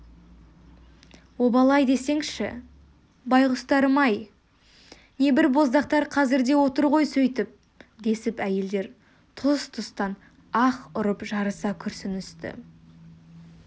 обал-ай десеңші байғұстарым-ай небір боздақтар қазір де отыр ғой сөйтіп десіп әйелдер тұс-тұстан аһ ұрып жарыса күрсіністі